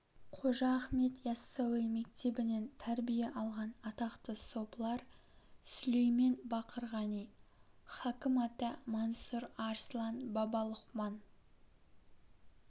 қожа ахмет иассауи мектебінен тәрбие алған атақты сопылар сүлеймен бақырғани хакім ата мансұр арслан баба лұқман